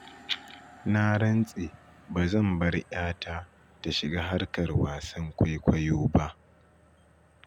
Na rantse ba zan bar 'yata ta shiga harkar wasan kwaikwayo ba.